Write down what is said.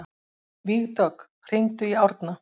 Vígdögg, hringdu í Árna.